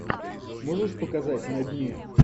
можешь показать на дне